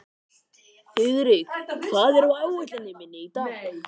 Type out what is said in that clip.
Þiðrik, hvað er á áætluninni minni í dag?